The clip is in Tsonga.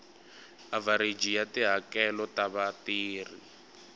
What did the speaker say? avhareji ya tihakelo ta vatirhi